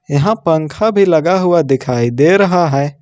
यहां पंखा भी लगा हुआ दिखाई दे रहा है।